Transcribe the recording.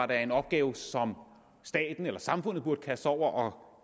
da er en opgave som staten eller samfundet burde kaste sig over og